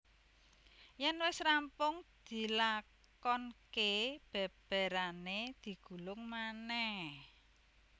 Yen wis rampung dilakonkè bèbèrane digulung manèh